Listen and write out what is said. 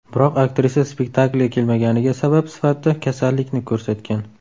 Biroq aktrisa spektaklga kelmaganiga sabab sifatida kasallikni ko‘rsatgan.